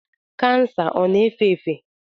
Kansa ọ na-efe efe?